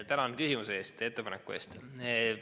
Tänan küsimuse ja ettepaneku eest!